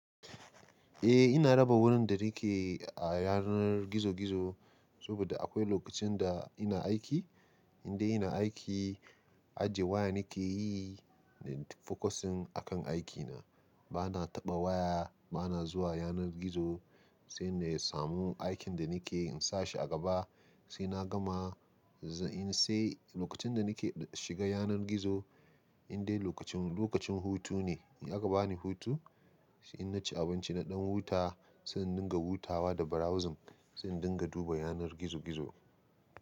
Eh ina raba wurin da nake a yanar gizo gizo, saboda akwai lokacin da ina aiki. Indai ina aiki, ajiye waya nike yi in focusing akan aikina. Bana taɓa waya, bana zuwa yanar gizo, sai na samu aikin da nake in sa shi a gaba sai na gama. Sai lokacin da nake shiga yanar gizo, indai lokacin, lokacin hutu ne. In aka bani hutu, sai in ci abinci naɗan huta, sai in dinga hutawa da browsing, sai in dinga duba yanar gizo gizo.